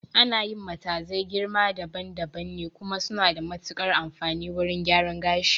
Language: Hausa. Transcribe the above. Ana yi matazai girma daban daban ne, kuma suna da matuƙar amfani a wurin gyaran gashi